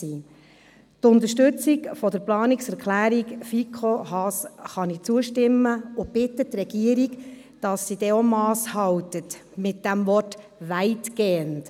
Ich unterstütze die Planungserklärung FiKo-Mehrheit/ Haas und bitte die Regierung, dass sie Mass hält bei der Interpretation des Wortes «weitgehend».